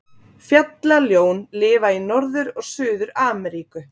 Fjallaljón lifa í Norður- og Suður-Ameríku.